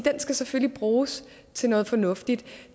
skal selvfølgelig bruges til noget fornuftigt